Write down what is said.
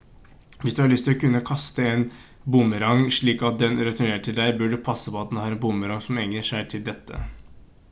hvis du har lyst til å kunne kaste en boomerang slik at den returnerer til deg bør du passe på at du har en boomerang som egner seg til dette